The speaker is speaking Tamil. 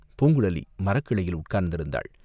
பூங்குழலி மரக்கிளையில் உட்கார்ந்திருந்தாள்.